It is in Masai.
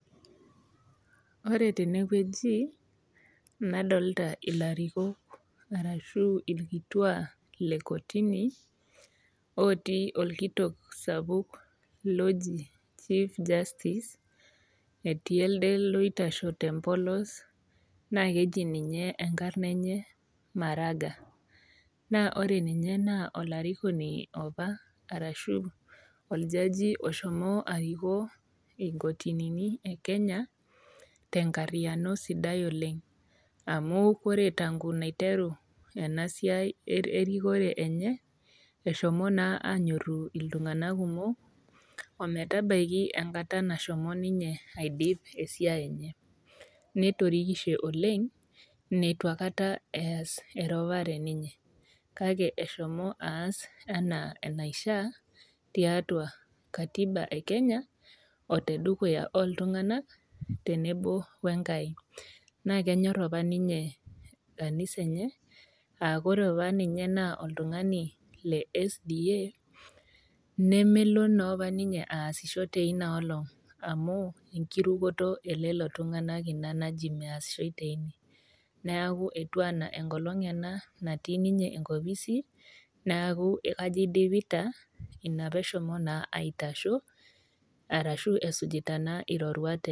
Wore tenewoji, nadolita ilarikok arashu irkituak lekotini, ootii orkitok sapuk looji chief justice, etii elde loitashe tempolos naa keji ninye enkarna enye Maraga. Naa wore ninye naa olarikoni apa arashu oljaji oshomo arikoo inkotinini ekenya tenkarriyiano sidai oleng'. Amu wore tangu niteru ena siai erikore enye, eshomo naa aanyorru iltunganak kumok, ometabaki enkata nashomo ninye aidip esiai enye. Netirikishe oleng', nitu aikata eas erupare ninye, kake eshomo aas enaa enaishaa, tiatua katiba ekenya otedukuya ooltunganak, tenebo wenkai. Naa kenyor apa ninye kanisa enye aa wore apa ninye naa oltungani le SDA, nemelo naapa ninye aasisho tenioolong, amu enkirukoto elelo tunganak ina naji measishoi tenie. Neeku etiu enaa enkolong' ena natii ninye enkopisi, neeku ajo idipita, inia pee eshomo naa aitasho, ashu esujita naa iroruat enye